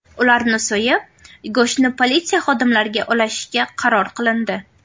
Ularni so‘yib, go‘shtini politsiya xodimlariga ulashishga qaror qilindi.